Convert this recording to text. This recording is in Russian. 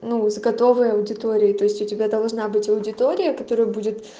ну из готовой аудитории то есть у тебя должна быть аудитория которая будет